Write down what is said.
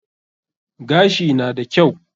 Gashi na da kyau.